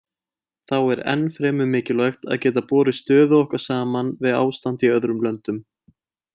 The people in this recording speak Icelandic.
Þá er ennfremur mikilvægt að geta borið stöðu okkar saman við ástand í öðrum löndum.